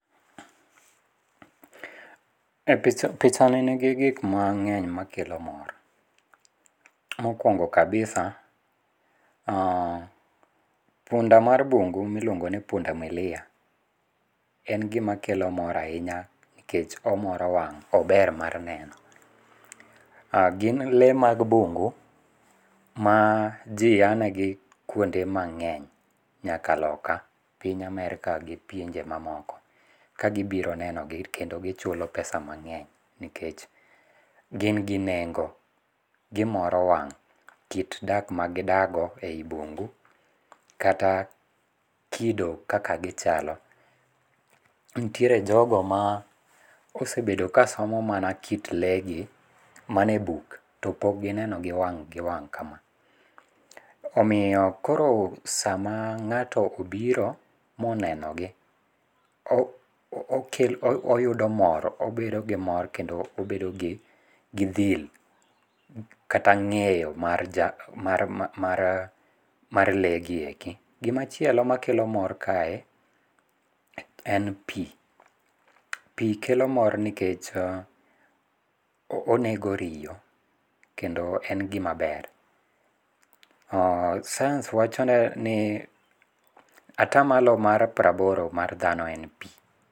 Pichani nigi gikmang'eny makelo mor. Mokwongo kabisa, punda mar bungu miluongo ni punda milia en gimakelo mor ahinya nikech omoro wang' ober mar neno. Gin lee mag bungu ma ji anegi kuonde mang'eny nyaka loka piny Amerka gi pinje mamoko kagibiro nenogi kendo gichulo pesa mang'eny, nikech gin gi nengo gimoro wang' kit dak magidakgo e i bungu kata kido kaka gichalo. Ntiere jogo ma osebedo kasomo mana kit lee gi mana e buk to pok gineno gi wang' gi wang' ka ma, omiyo koro sama ng'ato obiro monenogi obedo gi mor kendo obedo gi dhil kata ng'eyo mar lee gi eki. Gimachielo makelo mor kae en pi, pi kelo mor nikech onego riyo kendo en gimaber. Science wacho ni atamalo mar praboro mar dhano en pi.